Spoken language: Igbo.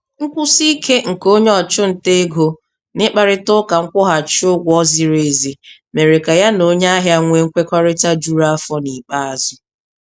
Nkwụsi ike nke onye ọchụnta ego n'ịkparịta ụka nkwụghachi ụgwọ ziri ezi mere ka ya na onye ahịa nwee nkwekọrịta juru afọ n'ikpeazụ.